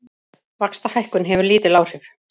Vaxtahækkun hefur lítil áhrif